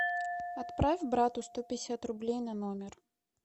отправь брату сто пятьдесят рублей на номер